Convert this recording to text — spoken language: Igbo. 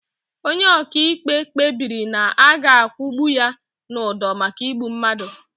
Onye ọkaikpe kpebiri na a ga akwụgbu ya n'ụdọ maka igbu mmadụ.